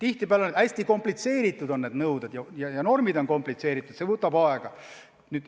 Tihtipeale on nõuded hästi komplitseeritud, nendesse süvenemine võtab aega.